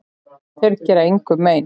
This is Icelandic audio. Þeir gera engum mein.